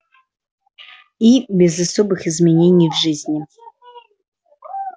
и без особых изменений в жизни